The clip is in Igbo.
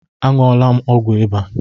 A ṅụọla m ọgwụ ịba